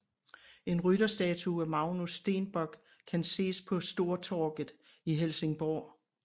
En rytterstatue af Magnus Stenbock kan ses på Stortorget i Helsingborg